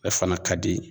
Ale fana ka di